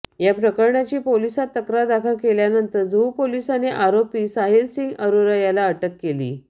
या प्रकरणाची पोलिसांत तक्रार दाखल केल्यानंतर जुहू पोलिसांनी आरोपी साहिलसिंग अरोरा याला अटक केली